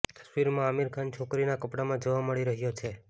તસવીરમાં આમિર ખાન છોકરીના કપડાંમાં જોવા મળી રહ્યો છે